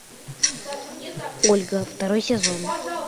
ольга второй сезон